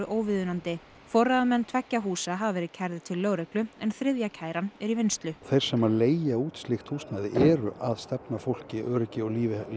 óviðunandi forráðamenn tveggja húsa hafa verið kærðir til lögreglu en þriðja kæran er í vinnslu þeir sem að leigja út slíkt húsnæði eru að stefna fólki öryggi og lífi